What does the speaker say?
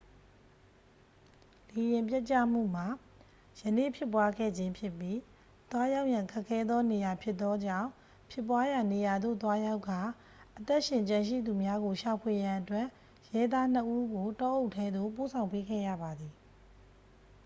လေယာဉ်ပျက်ကျမှုမှာ ယနေ့ဖြစ်ပွားခဲ့ခြင်းဖြစ်ပြီး သွားရောက်ရန်ခက်ခဲသောနေရာဖြစ်သောကြောင့် ဖြစ်ပွားရာနေရာသို့သွားရောက်ကာ အသက်ရှင်ကျန်ရှိသူများကိုရှာဖွေရန်အတွက် ရဲသားနှစ်ဦးကို တောအုပ်ထဲသို့ ပို့ဆောင်ပေးခဲ့ရပါသည်